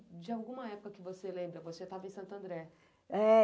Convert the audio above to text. de alguma época que você lembra, você estava em Santo André. É